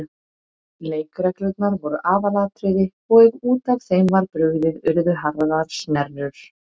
Leikreglurnar voru aðalatriði og ef út af þeim var brugðið urðu harðar snerrur.